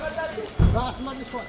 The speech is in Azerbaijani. Ramazan işi var.